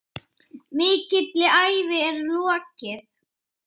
Mikilli ævi er lokið.